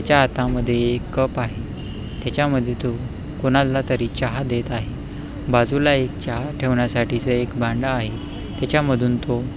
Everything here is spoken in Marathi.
त्याच्या हातामध्ये एक कप आहे त्याच्यामध्ये तो कोणाला तरी चहा देत आहे बाजूला एक चहा ठेवण्यासाठी च एक भांड आहे त्याच्यामधून तो--